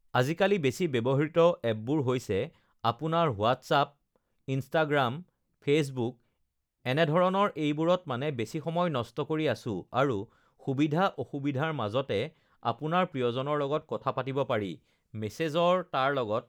আজিকালি বেছি ব্যৱহৃত এপবোৰ হৈছে আপোনাৰ হোৱাটচআপ ইনষ্টাগ্ৰাম ফেচবুক এনেধৰণৰ এইবোৰত মানে বেছি সময় নষ্ট কৰি আছোঁ আৰু সুবিধা অসুবিধাৰ লগতে আপোনাৰ প্ৰিয়জনৰ লগত কথা পাতিব পাৰি মেছেজৰ তাৰ লগত